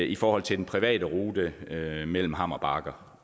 i forhold til den private rute mellem hammer bakke